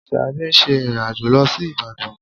Ṣadé ń ṣe ìrìn-àjò lọ sí Ìbàdàn